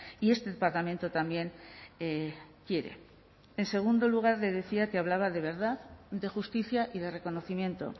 y este parlamento también quiere en segundo lugar le decía que hablaba de verdad de justicia y de reconocimiento